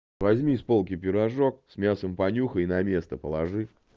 возьми с полки пирожок с мясом понюхай и на место положи